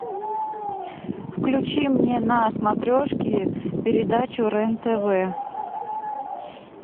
включи мне на смотрешке передачу рен тв